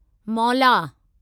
मौला